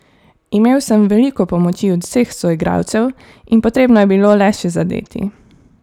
Imel sem veliko pomoči od vseh soigralcev in potrebno je bilo le še zadeti.